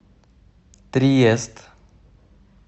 триест